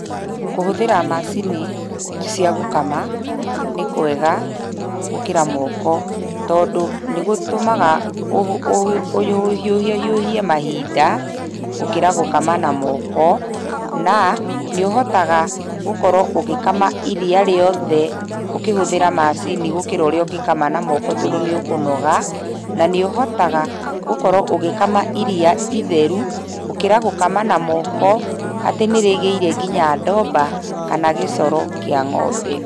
Kũhũthĩra macini cia gũkama, nĩ kwega gũkĩra moko. Tondũ nĩgũtũmaga ũhiũhahiũhie mahinda gũkĩra gũkama na moko, na nĩ ũhotaga gũkorwo ũgĩkama iria rĩothe ũkĩhũthĩra macini gũkĩra ũrĩa ũngĩakama na moko tondũ nĩ ũkũnoga, na nĩũhotaga gũkorwo ũgĩkama iria itheru, gũkĩra gũkama na moko atĩ nĩrĩgĩire kinya ndomba kana gĩcoro kĩa ng'ombe.